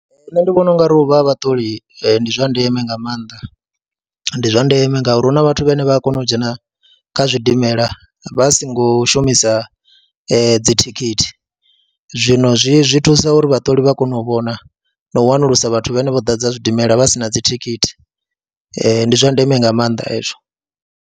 Nṋe ndi vhona u nga ri u vha ha vhaṱoli ndi zwa ndeme nga maanḓa, ndi zwa ndeme ngauri hu na vhathu vhane vha a kona u dzhena kha zwidimela vha songo shumisa dzi thikhithi, zwino zwi zwi thusa uri vhaṱoli vha kone u vhona na u wanulusa vhathu vhane vho ḓadza zwidimela vha si na dzi thikhithi, ndi zwa ndeme nga maanḓa hezwo.